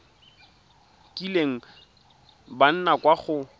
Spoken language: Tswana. kileng ba nna kwa go